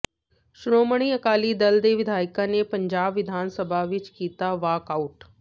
ਸ਼੍ਰੋਮਣੀ ਅਕਾਲੀ ਦਲ ਦੇ ਵਿਧਾਇਕਾਂ ਨੇ ਪੰਜਾਬ ਵਿਧਾਨ ਸਭਾ ਵਿੱਚ ਕੀਤਾ ਵਾਕਆਊਟ